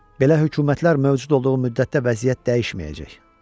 Belə hökumətlər mövcud olduğu müddətdə vəziyyət dəyişməyəcək.